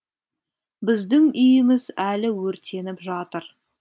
біздің үйіміз әлі өртеніп жатыр